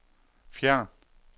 fjern